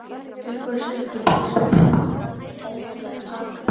Uppáhaldsdrykkur: ískalt vatn með klaka